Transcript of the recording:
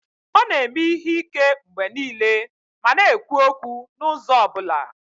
Ọ na-eme ihe ike mgbe niile ma na-ekwu okwu n'ụzọ ọ bụla